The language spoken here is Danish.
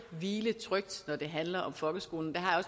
hvile trygt når det handler om folkeskolen det har